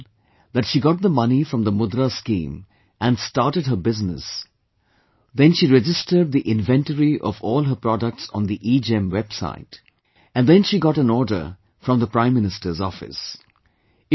She has written that she got the money from the 'Mudra' Scheme and started her business, then she registered the inventory of all her products on the EGEM website, and then she got an order from the Prime Minister's Office